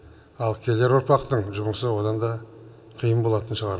ал келер ұрпақтың жұмысы одан да қиын болатын шығар